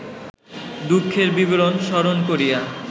দুঃখের বিবরণ স্মরণ করিয়া